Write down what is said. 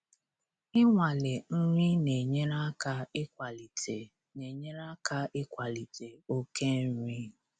Inwale nri na-enyere aka ịkwalite na-enyere aka ịkwalite oke nri.